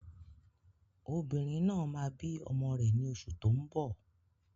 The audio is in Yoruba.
Obìnrin náà máa bí ọmọ rẹ̀ ní oṣù tó ń bọ̀